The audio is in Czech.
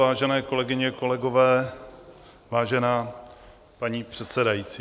Vážené kolegyně, kolegové, vážená paní předsedající.